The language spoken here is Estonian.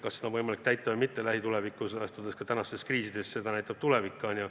Kas seda on võimalik lähitulevikus täita või mitte – ma pean silmas ka praegust kriisi –, eks me seda näe.